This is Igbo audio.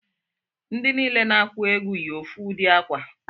Ndi niile na-aku egwu yi ofu udi akwa